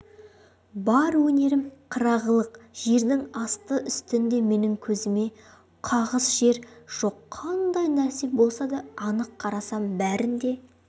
бар өнерім қырағылық жердің асты-үстінде менің көзіме қағыс жер жоқ қандай нәрсе болса да анықтап қарасам бәрін де